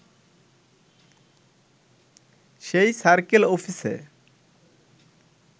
সেই সার্কেল অফিসে